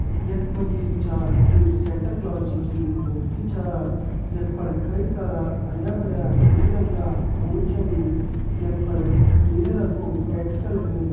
यक मजी जु छ एक सेंटा क्लॉस जी की मूर्ति छ। यक पण कई सारा हरिया भरिया रंग बिरंगा फूल छन। यक फण नीला रंग कु टेंट छ लग्युं।